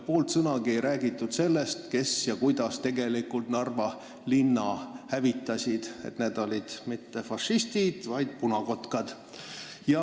Poolt sõnagi ei räägitud sellest, kes tegelikult Narva linna hävitasid – et need ei olnud mitte fašistid, vaid punakotkad.